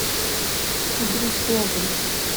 кудряшовым